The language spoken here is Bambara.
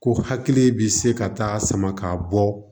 Ko hakili bi se ka taa sama ka bɔ